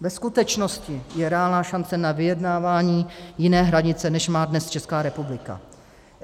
Ve skutečnosti je reálná šance na vyjednávání jiné hranice, než má dnes Česká republika.